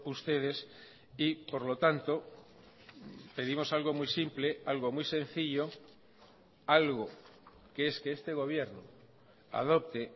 ustedes y por lo tanto pedimos algo muy simple algo muy sencillo algo que es que este gobierno adopte